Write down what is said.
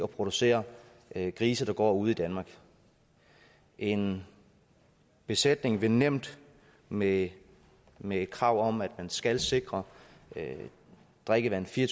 producere grise der går ude i danmark en besætning vil nemt med med et krav om at man skal sikre drikkevand fire og